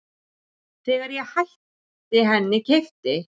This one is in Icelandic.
Þegar ég hætti henni keypti